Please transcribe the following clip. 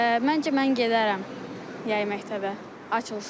Məncə mən gedərəm yay məktəbə açılsa.